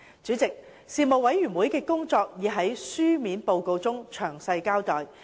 主席，事務委員會的工作已在書面報告中詳細交代。